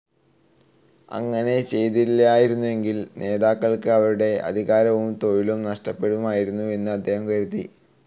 അങ്ങനെ ചെയ്തില്ലായിരുന്നെങ്കിൽ നേതാക്കൾക്ക് അവരുടെ അധികാരവും തൊഴിലും നഷ്ടപ്പെടുമായിരുന്നു എന്നും അദ്ദേഹം കരുതി.